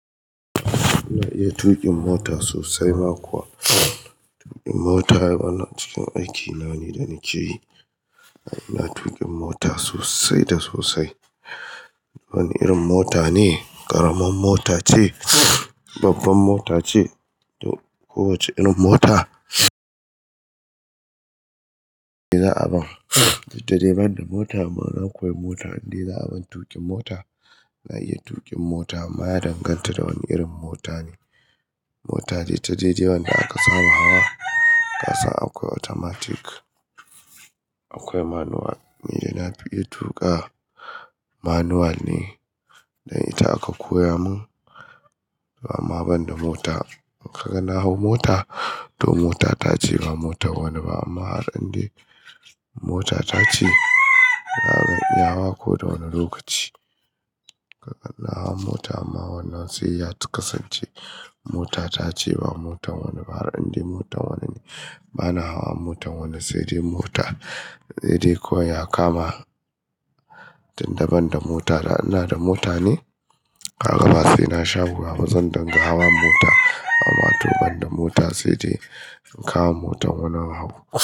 Na iya tuƙin mota sosai ma kuwa. Tuƙin mota yana cikin aikina ne, da nike yi. Na iya tuƙin mota sosai da sosai. Wani irin mota ne, ƙaramin mota ce, babban mota ce ko wace irin mota da za'a bani. Dede banda mota amma na koya mota, in de za'a ban tuƙin mota. Na iya tuƙin mota amma ya danganta da wani irin mota ne. Mota dai ta dai dai wadda aka saba hawa ƙasan akwai automatic, akwai manual. Ni dai na fi iya tuƙa manual ne, dan ita aka koya mun. Amma banda mota in ka ga na hau mota to mota ta ce ba mota wani ba amma har inda mota ta ce ya hau ko da wani lokaci. Ka ga na hau mota amma wannan sai ya kasance mota ta ce ba mota wani ba har inda mota wani ne. Bana hawa motan wani sai dai mota, sai dai ko ya kama. Tunda banda mota da ina da mota ne, kaga ba sai na sha wuya ba zan dinga hawa mota ba amma to banda mota sai dai in kama motan wani in hau.